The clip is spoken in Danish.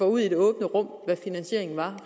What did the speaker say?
ud i det åbne rum hvad finansieringen var